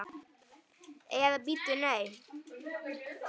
Eða bíddu, nei.